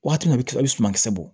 Waati min na a bɛ kila i bɛ sumankisɛ bɔ